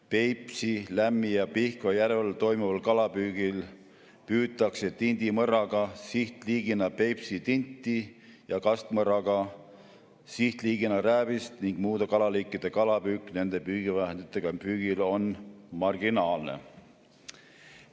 Peipsi, Lämmi‑ ja Pihkva järvel toimuval kalapüügil püütakse tindimõrraga sihtliigina Peipsi tinti ja kastmõrraga sihtliigina rääbist ning muude kalaliikide püük nende püügivahenditega püügil on marginaalne.